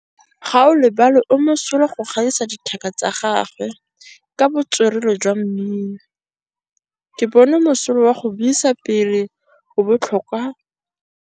Gaolebalwe o mosola go gaisa dithaka tsa gagwe ka botswerere jwa mmino. Ke bone mosola wa go buisa pele o kwala tlhatlhobô.